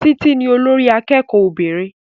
Títí ní olórí akẹ́kọ̀ọ́ obìnrin